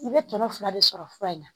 U bɛ tɔnɔn fila de sɔrɔ fura in na.